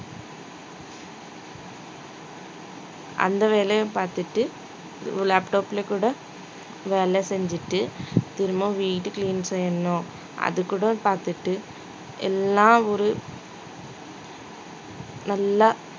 அந்த வேலையும் பார்த்துட்டு laptop ல கூட வேலை செஞ்சுட்டு திரும்பவும் வீடு clean செய்யணும் அது கூட பார்த்துட்டு எல்லாம் ஒரு நல்லா